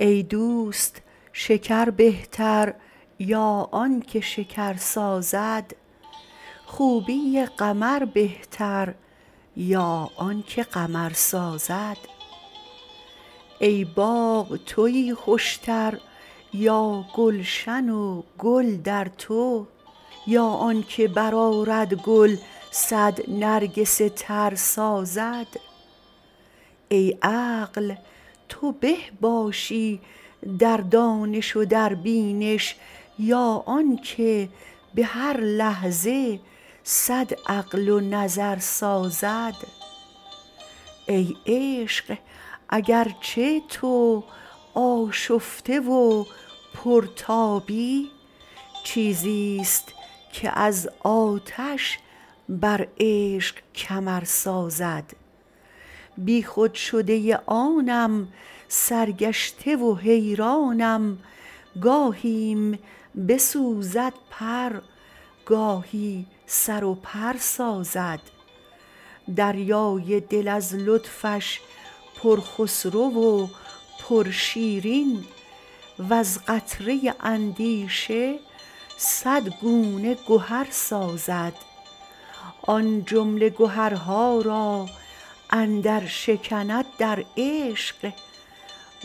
ای دوست شکر بهتر یا آنک شکر سازد خوبی قمر بهتر یا آنک قمر سازد ای باغ تویی خوشتر یا گلشن گل در تو یا آنک برآرد گل صد نرگس تر سازد ای عقل تو به باشی در دانش و در بینش یا آنک به هر لحظه صد عقل و نظر سازد ای عشق اگر چه تو آشفته و پرتابی چیزی ست که از آتش بر عشق کمر سازد بیخود شده ی آنم سرگشته و حیرانم گاهی م بسوزد پر گاهی سر و پر سازد دریای دل از لطفش پر خسرو و پر شیرین وز قطره اندیشه صد گونه گهر سازد آن جمله گهر ها را اندر شکند در عشق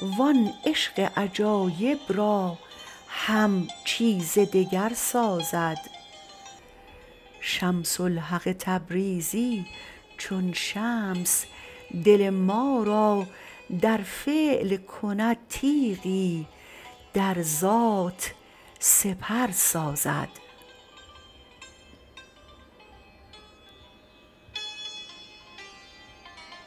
وان عشق عجایب را هم چیز دگر سازد شمس الحق تبریزی چون شمس دل ما را در فعل کند تیغی در ذات سپر سازد